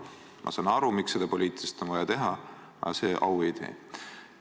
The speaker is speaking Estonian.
Ma saan aru, miks seda poliitiliselt on vaja teha, aga au see ei tee.